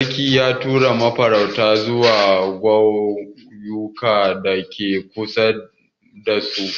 Sarki ya tura masu farauta zuwa ƙauyukan dake kusa damu domin sulhu.